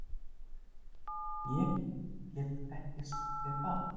Ég get ekki sagt þér það.